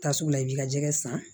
Ta sugu la i bɛ ka jɛgɛ san